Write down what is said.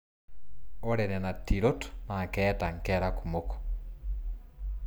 Ore nena tirot naa keeta nkera kumok.